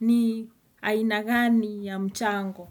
ni ainagani ya mchango.